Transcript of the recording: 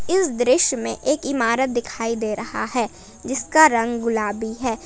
इस दृश्य में एक इमारत दिखाई दे रहा है जिसका रंग गुलाबी है।